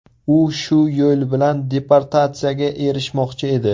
U shu yo‘l bilan deportatsiyaga erishmoqchi edi.